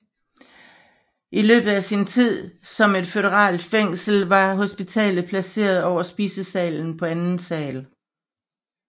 I løbet af sin tid som et føderalt fængsel var hospitalet placeret over spisesalen på anden sal